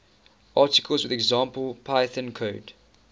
articles with example python code